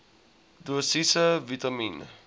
dosisse vitamien